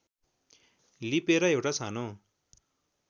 लिपेर एउटा सानो